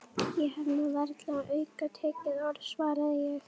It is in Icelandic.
Ég hef nú varla sagt aukatekið orð svaraði ég.